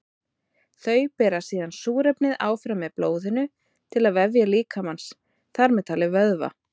Þau bera síðan súrefnið áfram með blóðinu til vefja líkamans, þar með talið vöðva.